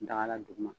Daga la duguma